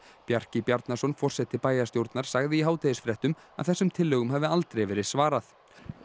Bjarki Bjarnason forseti bæjarstjórnar sagði í hádegisfréttum að þessum tillögum hafi aldrei verið svarað